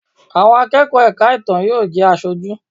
Àwọn akẹ́kọ̀ọ́ ẹ̀ka ìtàn yóò jẹ́ Aṣojú.